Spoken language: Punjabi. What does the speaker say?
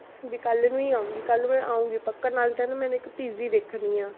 ਵੀ ਕੱਲ੍ਹ ਨੂੰ ਹੀ ਆਊਂਗੀ, ਕੱਲ੍ਹ ਮੈਂ ਆਊਂਗੀ ਪੱਕਾ, ਨਾਲੇ ਤਾਂ ਇੱਕ PG ਦੇਖਣੀ ਹੈ